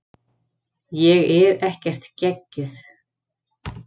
Ég er ekkert geggjuð.